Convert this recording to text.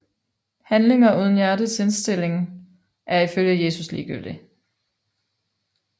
Handlinger uden hjertets rette indstilling er ifølge Jesus ligegyldig